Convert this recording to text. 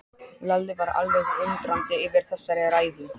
Lalli var alveg undrandi yfir þessari ræðu.